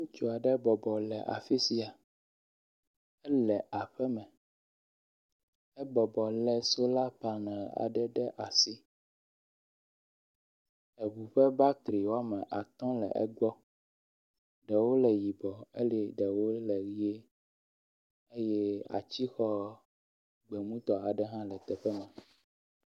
Ŋutsu aɖe bɔbɔ le afi sia, ele aƒe me, ebɔbɔ le sola panel aɖe ɖe asi, eŋu ƒe battery wome atɔ̃ le egbɔ, ɖewoo le yibɔ eye ɖewo le ʋi eye atsixɔ gbemutɔ hã le teƒe ma